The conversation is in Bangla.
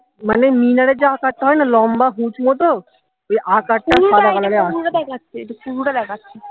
মানে মিনারের যে আকার টা হয় না লম্বা উঁচু মতো তো ওই আকার টা